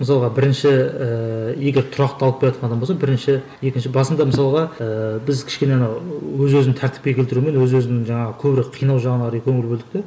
мысалға бірінші ііі егер тұрақталып келатқан адам болса бірінші екінші басында мысалға ыыы біз кішкене ана өз өзін тәртіпке келтірумен өз өзін жаңағы көбірек қинау жағына қарай көңіл бөлдік те